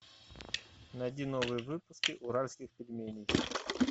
найди новые выпуски уральских пельменей